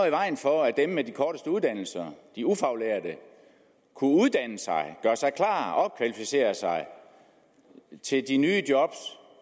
i vejen for at dem med de korteste uddannelser de ufaglærte kunne uddanne sig gøre sig klar opkvalificere sig til de nye job